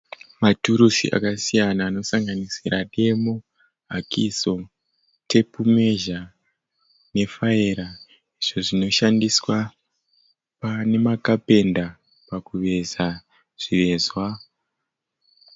Maturusi akasiyana anosanganisira demo, hakiso, tape measure ne faera izvo zvino shandiswa pane ma carpenter pakuveza zvivezwa.